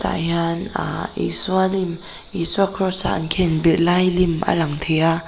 ah hian ah Isua lim Isua cross a an khenbeg lai lim a lang thei a--